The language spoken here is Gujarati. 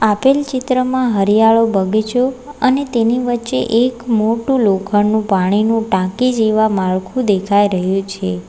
આપેલ ચિત્રમાં હરિયાળો બગીચો અને તેની વચ્ચે એક મોટું લોખંડનું પાણીનું ટાંકી જેવા માળખું દેખાઈ રહ્યું છે.